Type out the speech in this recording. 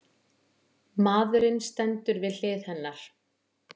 Maðurinn stendur við hlið hennar.